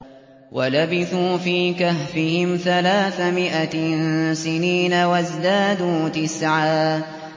وَلَبِثُوا فِي كَهْفِهِمْ ثَلَاثَ مِائَةٍ سِنِينَ وَازْدَادُوا تِسْعًا